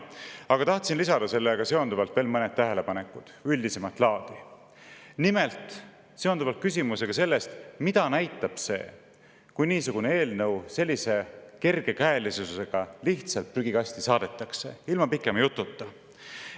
Aga tahtsin lisada veel mõned tähelepanekud – üldisemat laadi, mis seonduvad küsimusega sellest, mida näitab see, kui niisugune eelnõu sellise kergekäelisusega lihtsalt prügikasti saadetakse, ilma pikema jututa.